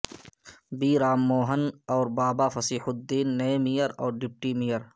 be Ram Mohan اور بابا فصیح الدین نئے mayor اور ڈپٹی میئر